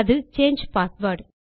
அது சாங்கே பாஸ்வேர்ட்